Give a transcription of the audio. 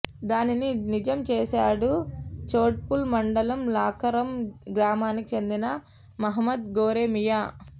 దానిని నిజం చేశాడు చౌటుప్పల్ మండలం లక్కారం గ్రామానికి చెందిన మహ్మద్ గోరేమియా